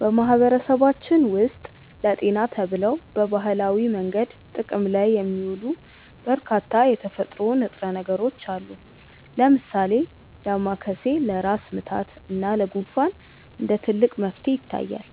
በማህበረሰባችን ውስጥ ለጤና ተብለው በባህላዊ መንገድ ጥቅም ላይ የሚውሉ በርካታ የተፈጥሮ ንጥረ ነገሮች አሉ። ለምሳሌ ዳማከሴ ለራስ ምታት እና ለጉንፋን እንደ ትልቅ መፍትሄ ይታያል፤